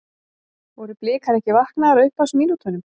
Voru Blikar ekki vaknaðir á upphafsmínútunum?